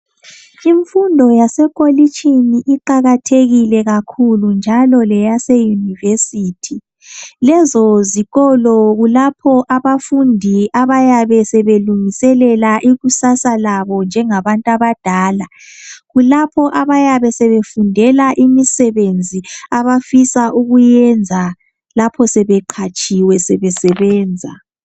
Imfundo yasekolitshini iqakathekile kakhulu njalo leyase University lezo zikolo kulapho abafundi abayabe sebelungiselela ikusasa labo njengabantu abadala .Kulapho abayabe sebefundela imisebenzi abafisa ukuyenza lapho sebeqatshiwe sebe sebenza